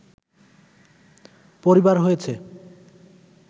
পরিবার হয়েছে